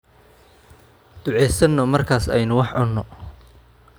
Duceesano markaas aynu wax cunno.